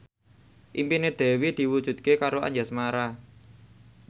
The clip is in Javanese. impine Dewi diwujudke karo Anjasmara